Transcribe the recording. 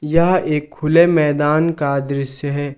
यह एक खुले मैदान का दृश्य है।